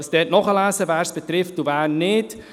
Sie können dort nachlesen, wen es betrifft und wen nicht.